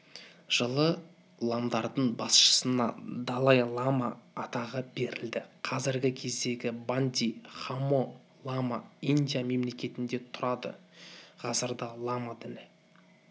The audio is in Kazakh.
жылы ламдардың басшысына далай-лама атағы берілді қазіргі кездегі банди хамо-лама индия мемлекетінде тұрады ғасырда лама діні